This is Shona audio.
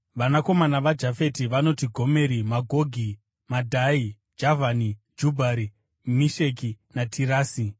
Vanakomana vaJafeti vanoti: Gomeri, Magogi, Madhai, Javhani, Jubhari, Mesheki naTirasi.